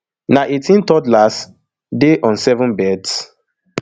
na eighteen toddlers dey on seven beds